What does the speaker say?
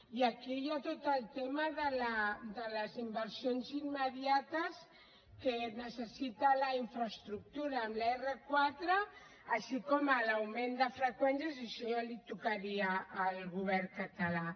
i aquí hi ha tot el tema de les inversions immediates que necessita la infraestructura en l’r4 així com en l’augment de freqüències i això ja li tocaria al govern català